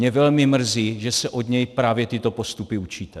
Mě velmi mrzí, že se od něj právě tyto postupy učíte.